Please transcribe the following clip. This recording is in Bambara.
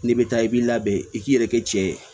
N'i bɛ taa i b'i labɛn i k'i yɛrɛ kɛ cɛ ye